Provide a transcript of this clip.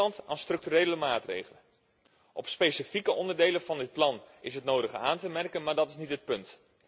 Zo werkt Nederland aan structurele maatregelen. Op specifieke onderdelen van dit plan is het nodige aan te merken, maar dat is niet het punt.